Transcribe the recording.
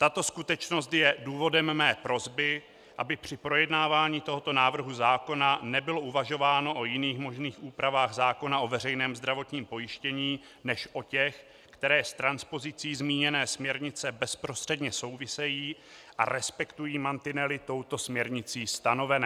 Tato skutečnost je důvodem mé prosby, aby při projednávání tohoto návrhu zákona nebylo uvažováno o jiných možných úpravách zákona o veřejném zdravotním pojištění než o těch, které s transpozicí zmíněné směrnice bezprostředně souvisejí a respektují mantinely touto směrnicí stanovené.